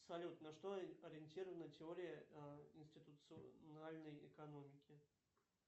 салют на что ориентирована теория институциональной экономики